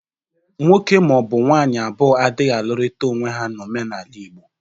Nwoke ma ọ bụ nwaanyị abụọ adịghị alụrịta onwe ha n'omenala Igbo.